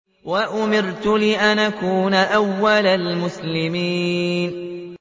وَأُمِرْتُ لِأَنْ أَكُونَ أَوَّلَ الْمُسْلِمِينَ